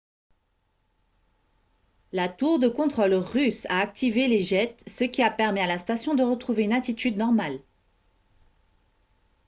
la tour de contrôle russe a activé les jets ce qui a permis à la station de retrouver une attitude normale